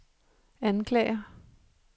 anklager